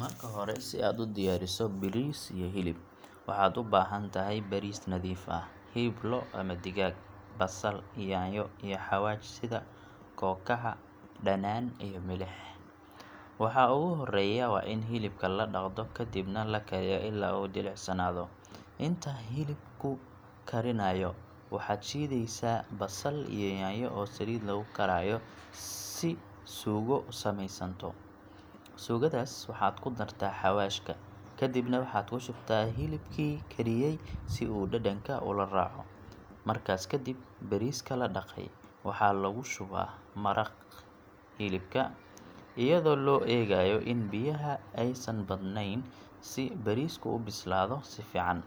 Marka hore si aad u diyaariso bariis iyo hilib, waxaad u baahantahay bariis nadiif ah, hilib lo’ ama digaag, basal, yaanyo, iyo xawaash sida kookaha, dhanaan, iyo milix. Waxa ugu horreeya waa in hilibka la dhaqdo kadibna la kariyo ilaa uu jilicsanaado. Inta hilibku karinayo, waxaad shiidaysaa basal iyo yaanyo oo saliid lagu karayo si suugo u sameysanto. Suugadaas waxaad ku dartaa xawaashka, kadibna waxaad ku shubtaa hilibkii kariyey si uu dhadhanka ula raaco. Markaas kadib, bariiska la dhaqay waxaa lagu shubaa maraqii hilibka, iyadoo loo eegayo in biyaha aysan badnayn si bariisku u bislaado si fiican.